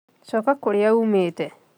Coka kũrĩa uumĩte